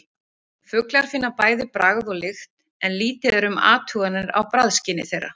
Fuglar finna bæði bragð og lykt en lítið er um athuganir á bragðskyni þeirra.